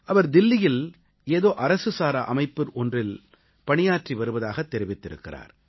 அவர் தில்லியில் ஏதோ அரசுசாரா அமைப்பு ஒன்றில் பணியாற்றி வருவதாகத் தெரிவித்திருக்கிறார்